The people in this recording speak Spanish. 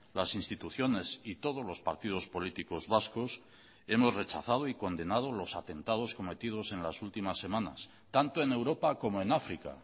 las instituciones y todos los partidos políticos vascos hemos rechazado y condenado los atentados cometidos en las últimas semanas tanto en europa como en áfrica